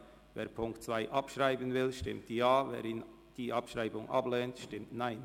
Wer die Ziffer 2 abschreiben will, stimmt Ja, wer dies nicht will, stimmt Nein.